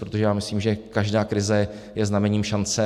Protože já myslím, že každá krize je znamením šance.